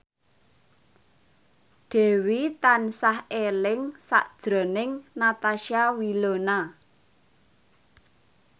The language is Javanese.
Dewi tansah eling sakjroning Natasha Wilona